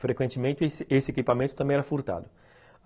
Frequentemente esse esse equipamento também era furtado.